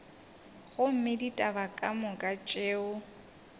gomme ditaba ka moka tšeo